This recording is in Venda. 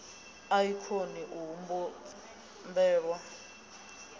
a i koni u humbelwa